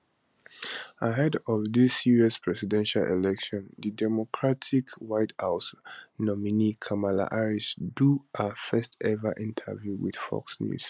ahead of di us presidential election di democratic white house nominee kamala harris do her firstever interview with fox news